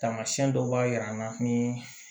Tamasiyɛn dɔw b'a jira an na ni